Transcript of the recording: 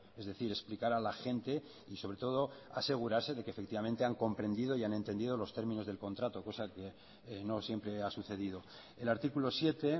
es decir explicar a la gente y sobre todo asegurarse de que han comprendido y han entendido los términos del contrato cosa que no siempre ha sucedido el artículo siete